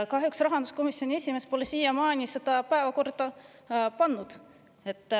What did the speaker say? Kahjuks pole rahanduskomisjoni esimees siiamaani seda päevakorda pannud.